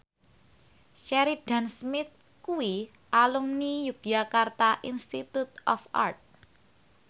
Sheridan Smith kuwi alumni Yogyakarta Institute of Art